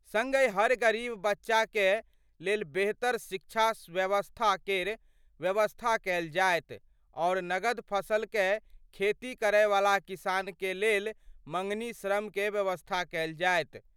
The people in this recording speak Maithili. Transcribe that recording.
संगहि हर गरीब बच्चा कए लेल बेहतर शिक्षा व्यवस्था केर व्यवस्था कएल जाएत आओर नगद फसल कए खेती करय वाला किसान क लेल मंगनी श्रम कए व्यवस्था कएल जाएत।